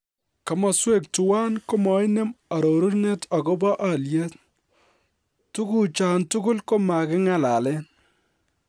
Komoswek tuan komoinem arorunet agobo alyet, tuguchan tugul komaging'alalen